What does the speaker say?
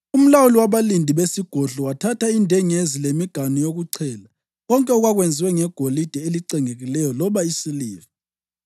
Umlawuli wabalindi besigodlo wathatha indengezi lemiganu yokuchela, konke okwakwenziwe ngegolide elicengekileyo loba isiliva.